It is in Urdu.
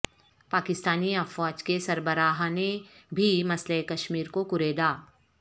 پاکستانی افواج کے سربراہ نے بھی مسئلہ کشمیر کو کریدا